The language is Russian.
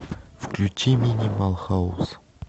включи минимал хаус